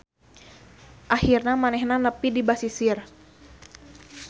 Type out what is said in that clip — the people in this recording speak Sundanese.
Akhirna manehna nepi di basisir.